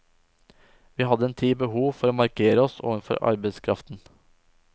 Vi hadde en tid behov for å markere oss overfor arbeidskraften.